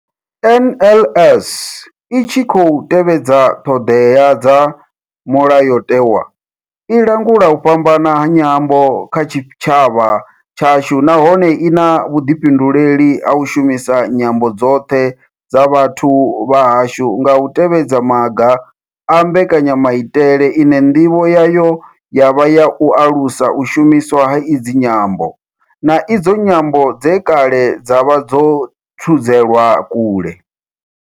NLS I tshi khou tevhedza ṱhodea dza Mulayo tewa, i langula u fhambana ha nyambo kha tshitshavha tshashu nahone I na vhuḓifhinduleli ha u shumisa nyambo dzoṱhe dza vhathu vha hashu nga u tevhedza maga a mbekanya maitele ine ndivho yayo ya vha u alusa u shumiswa ha idzi nyambo, na idzo nyambo dze kale dza vha dzo thudzelwa kule.